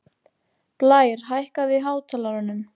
Blær, hækkaðu í hátalaranum.